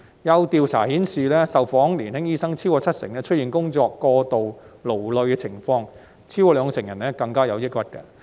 有調査顯示，超過七成受訪年輕醫生出現工作過勞的情況，超過兩成人更有抑鬱。